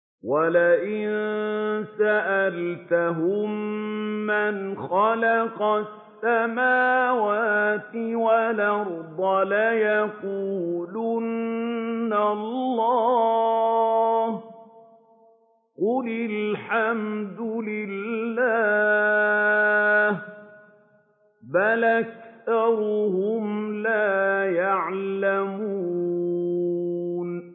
وَلَئِن سَأَلْتَهُم مَّنْ خَلَقَ السَّمَاوَاتِ وَالْأَرْضَ لَيَقُولُنَّ اللَّهُ ۚ قُلِ الْحَمْدُ لِلَّهِ ۚ بَلْ أَكْثَرُهُمْ لَا يَعْلَمُونَ